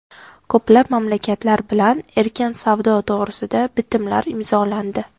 Ko‘plab mamlakatlar bilan erkin savdo to‘g‘risida bitimlar imzolandi.